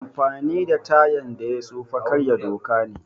Amfani da tayan da ya tsufa karya doka ne